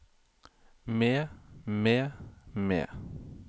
med med med